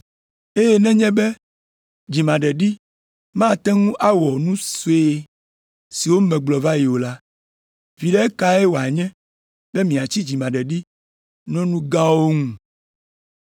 Eye nenye be dzimaɖeɖi mate ŋu awɔ nu sue siwo megblɔ va yi o la, viɖe kae wòanye be miatsi dzimaɖeɖi ɖe nu gãwo ŋu?